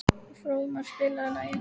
Fróðmar, spilaðu lag.